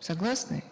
согласны